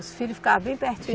Os filho ficava bem pertinho